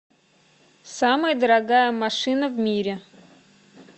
самая дорогая машина в мире